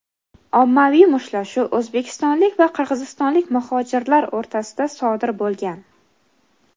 ommaviy mushtlashuv o‘zbekistonlik va qirg‘izistonlik muhojirlar o‘rtasida sodir bo‘lgan.